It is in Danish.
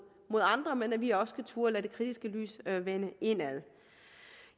andre men at vi også skal turde at rette det kritiske lys indad